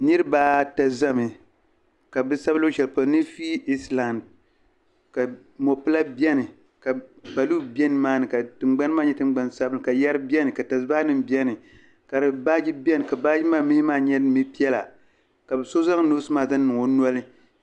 Niriba ata zami ka bi sabi luɣushɛli polo ni fiili Islam ka mopila beni ka kpaluhi be nimaani ka tingbani maa nyɛ tingbani sabinli ka yɛri beni ka tasibahanima beni ka baaji beni ka baaji maa mihi maa nyɛla mi'piɛla ka so zaŋ noosi maaki zaŋ niŋ o noli.